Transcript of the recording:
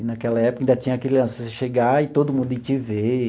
E, naquela época, ainda tinha aquele lance de você chegar e todo mundo ir te ver.